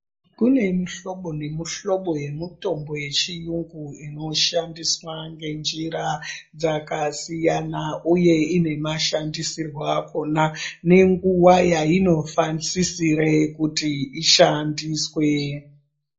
Kune mihlobo nemihlobo yemutombo yechiyungu inoshandiswa ngenjira dzakasiyana uye ine mashandisirwo akhona nenguwa yainosisire kuti ishandiswe.